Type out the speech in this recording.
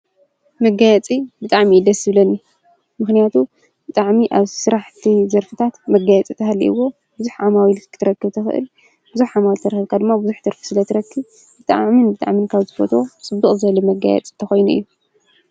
መጋያፂ ብጥዕሚይደስብለኒ ምህንያቱ ብጥዕሚ ኣብ ሥራሕእቲ ዘርፍታት መጋያጽ ታሃልይዎ ብዙኅ ዓማዊ ኢሉት ክትረክ ተኽእል ብዙኅ ዓማልተ ርክብካድሞ ብዙኅ ትርፊ ስለ ትረኪ ብጥዓምን ብጥዕምንካብ ዝበት ጽቡቕ ዘለ መጋያጽ ተኾይኑ እዩ።